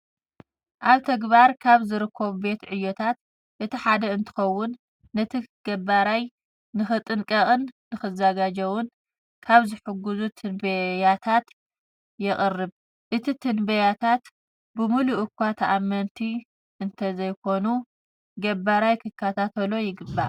ኣብ ትግባር ካብ ዝርከቡ ቤት ዕዮታት እቲ ሓደ እንትኸውን ነቲ ገባራይ ንክጥንቀቅን ንክዘጋጀውን ካብ ዝሕግዙ ትንበያታት የቅርብ። እዚ ትንበያታት ብሙሉእ እኳ ተኣመንቲ እንተይኾኑ ገባራይ ክከታታሎ ይግባእ።